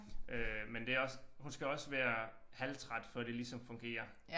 Øh men det også hun skal også være halvtræt før det ligesom fungerer